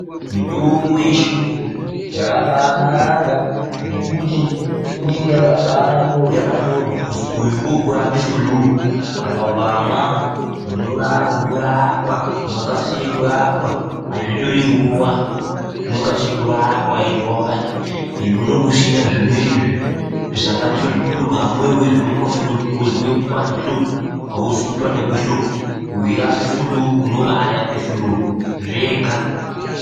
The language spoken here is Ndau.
Mitimbo yechiyungu yakabaanaka ngekuti inenge yakabaanyorwa kuzwi uyu ngookurape fuluu, saka ukamwa unokasire kurapwa, hazvitori nguwa zvinokasire kurapwa ende unenge usina zvimweni zvisanganiswa zvekuti unozwe kupanda kwehloko hauzwi kupanda kehloko, weirape fuluu unobaarape fuluu, zvega.